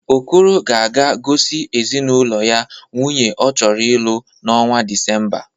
Okoro ga-aga gosi ezinaụlọ ya nwaanyị ọ chọrọ ịlụ n'ọnwa Disemba.